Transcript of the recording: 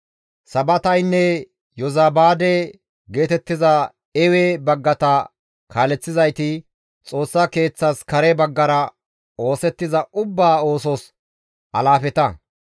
Sabataynne Yozabaade geetettiza Ewe baggata kaaleththizayti Xoossa Keeththas kare baggara oosettiza ubbaa oosos alaafeta.